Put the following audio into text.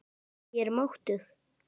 Ég er máttug.